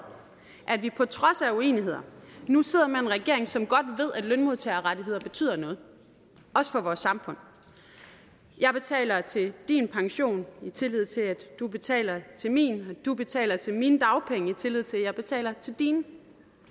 at vi på trods af uenigheder nu sidder med en regering som godt ved at lønmodtagerrettigheder betyder noget også for vores samfund jeg betaler til din pension i tillid til at du betaler til min du betaler til min mine dagpenge i tillid til at jeg betaler til dine